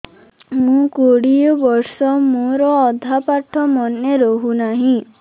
ମୋ କୋଡ଼ିଏ ବର୍ଷ ମୋର ଅଧା ପାଠ ମନେ ରହୁନାହିଁ